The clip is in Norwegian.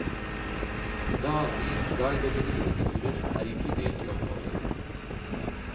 Daglige guidede rideturer er inkludert i oppholdet.